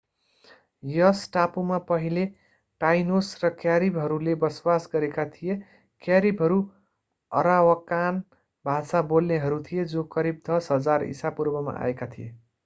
यस टापुमा पहिले टाइनोस र क्यारिबहरूले बसोबास गरेका थिए क्यारिबहरू अरावाकान भाषा बोल्नेहरू थिए जो करिब 10,000 ईसापूर्वमा आएका थिए